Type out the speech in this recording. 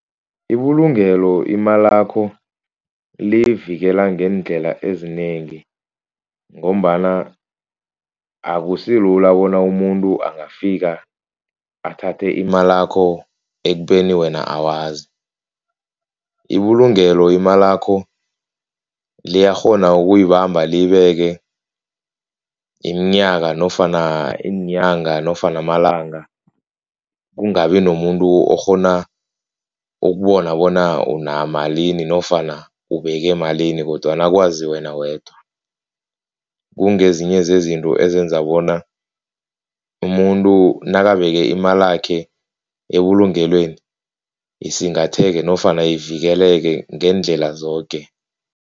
Ibulungelo imalakho liyivikela ngeendlela ezinengi. Ngombana akusilula bona umuntu angafika athathe imalakho ekubeni wena awazi. Ibulungelo imalakho liyakghona ukuyibamba liyibeke iminyaka nofana iinganya nofana malanga kungabi nomuntu okghona ukubona bona unamalini nofana ubeke malini kodwana kwazi wena wedwa. Kungezinye zezinto ezenza bona umuntu nakabeke imalakhe ebulungelweni isingatheke nofana ivikeleke ngeendlela zoke.